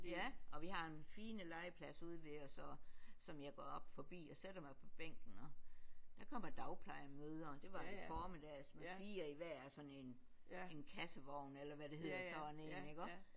Ja og vi har en fine legeplads ude ved os og som jeg går op forbi og sætter mig på bænken og der kommer dagplejemødre og det var en formiddag så fire i hver af sådan en en kassevogn eller hvad det hedder sådan én ikke også